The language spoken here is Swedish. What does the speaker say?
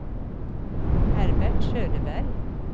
Herbert Söderberg